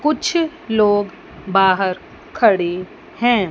कुछ लोग बाहर खड़े हैं।